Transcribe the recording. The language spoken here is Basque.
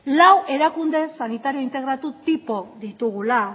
lau erakunde sanitario integratu tipo ditugula